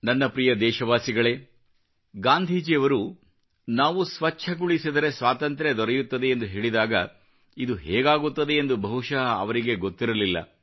ನನ್ನ ಪ್ರೀತಿಯ ದೇಶವಾಸಿಗಳೇ ಗಾಂಧೀಜಿಯವರು ನಾವು ಸ್ವಚ್ಚಗೊಳಿಸಿದರೆ ಸ್ವಾತಂತ್ರ್ಯ ದೊರೆಯುತ್ತದೆ ಎಂದು ಹೇಳಿದಾಗ ಇದು ಹೇಗಾಗುತ್ತದೆ ಎಂದು ಬಹುಶಃ ಅವರಿಗೇ ಗೊತ್ತಿರಲಿಲ್ಲ